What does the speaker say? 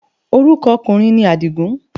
Orúkọ ọkùnrin ni Àdìgún